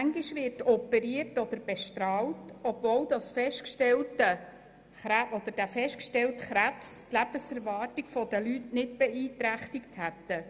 Und manchmal wird operiert oder bestrahlt, obwohl der festgestellte Krebs die Lebenserwartung der Leute nicht beeinträchtig hätte.